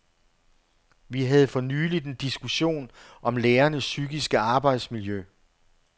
Vi havde fornyligt en diskussion om lærernes psykiske arbejdsmiljø.